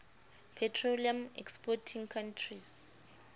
petroleum exporting countries